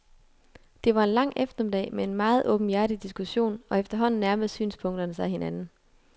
Det var en lang eftermiddag med en meget åbenhjertig diskussion, og efterhånden nærmede synspunkterne sig hinanden.